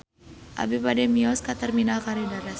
Abi bade mios ka Terminal Kalideres